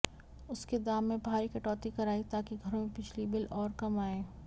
उसके दाम में भारी कटौती कराई ताकि घरों में बिजली बिल और कम आएं